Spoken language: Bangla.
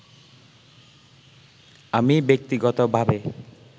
আমি ব্যক্তিগতভাবে